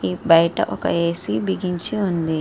ఈ బయటి ఒక ఏ. సీ. బిగించి ఉంది.